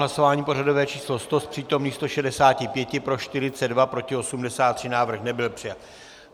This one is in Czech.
Hlasování pořadové číslo 100, z přítomných 165 pro 42, proti 83, návrh nebyl přijat.